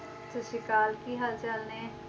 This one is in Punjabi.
ਸਤਿ ਸ੍ਰੀ ਅਕਾਲ ਕੀ ਹਾਲ ਚਾਲ ਨੇ,